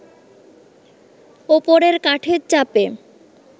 ওপরের কাঠের চাপে